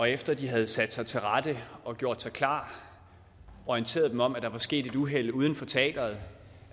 efter de havde sat sig til rette og gjort sig klar orienterede dem om at der var sket et uheld uden for teatret